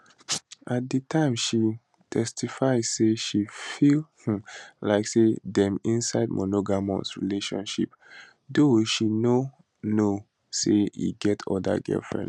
at di time she testify say she feel um like say dem inside monogamous relationship though she know now say e get oda girlfriends